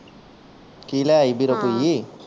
ਕੀ ਲਿਆਈ ਸੀ ਬੀਰੋ ਭੁਈ ਹਾਂ